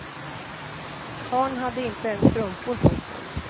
Karln hade inte ens strumpor på sig.